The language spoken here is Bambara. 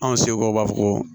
Anw seko b'a fɔ ko